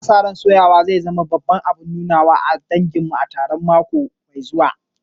Ana sa ran soyawa zai zama babban abun nunawa a taron danginmu a karshen mako mai zuwa.